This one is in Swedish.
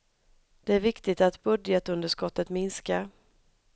Det är viktigt att budgetunderskottet minskar.